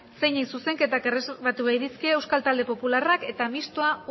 zeinei zuzenketak erreserbatu bai dizkie euskal talde popularrak eta mistoa